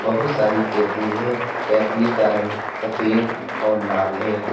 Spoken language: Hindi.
बहुत सारी केतली हैं केतली का रंग सफेद और लाल है।